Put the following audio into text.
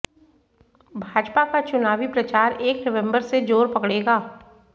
भाजपा का चुनावी प्रचार एक नवंबर से जोर पकड़ेगा